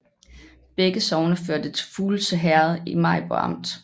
Begge sogne hørte til Fuglse Herred i Maribo Amt